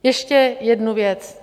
Ještě jednu věc.